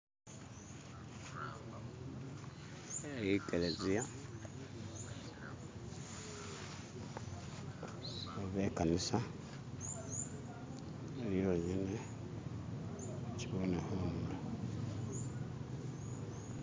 eyikeleziya oba ikanisa ili yonyene nachibone hunulo